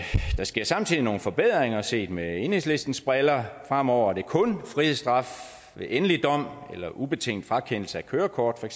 sker samtidig nogle forbedringer set med enhedslistens briller fremover er det kun frihedsstraf ved endelig dom eller ubetinget frakendelse af kørekort